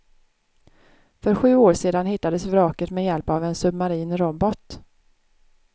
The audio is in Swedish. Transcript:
För sju år sedan hittades vraket med hjälp av en submarin robot.